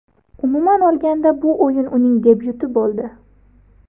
Umuman olganda bu o‘yin uning debyuti bo‘ldi.